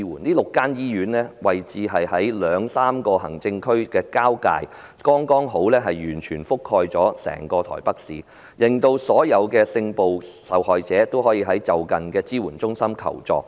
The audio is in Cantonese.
這6間醫院分別位於兩三個行政區的交界處，剛好完全覆蓋整個台北市，讓所有性暴力受害人均可前往就近的支援中心求助。